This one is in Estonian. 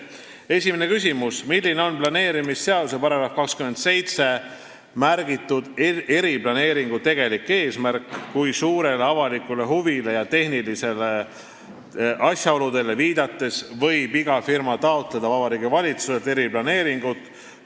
Esimene küsimus: "Milline on planeerimisseaduse §-s 27 märgitud eriplaneeringu tegelik eesmärk, kui suurele avalikule huvile ja tehnilistele asjaoludele viidates võib iga firma taotleda Vabariigi Valitsuselt eriplaneeringut?